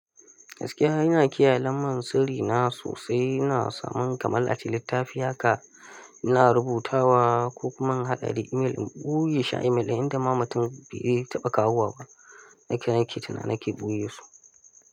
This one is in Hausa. Gaskiya ina kiyaye lambar sirri na sosai, ina samun kamar ace littafi haka ina rubutawa ko kuma in hada da email in ɓoye shi a email inda ma mutum bai iya taɓa kawowa ba. Duka nake tunani na ke ɓoye su.